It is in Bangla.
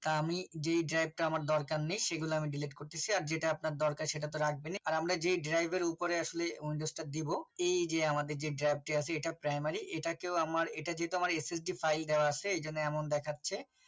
তা আমি যে drive টা আমার দরকার নাই সেগুলো আমি Delete করতেছি আর যেটা আর যেটা দরকার সেটা তো রাখবেনই আর আমরা যে drive এর উপরে উপদেষ্টা দেব এইযে আমাদের যে drive টা আছে এটা primary এটা কেউ আমার এটা যেহেতু ssd file দেওয়া আছে এজন্য এমন দেখাচ্ছে